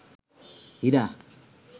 হীরা